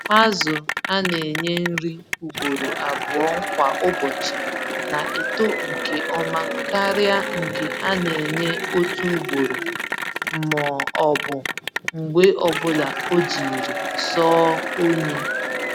Azụ a nenye nri ugboro abụọ kwa ụbọchị na-eto nke ọma karịa nke a na-enye otu ugboro m'ọbụ mgbe ọbula ojiri sọọ onye.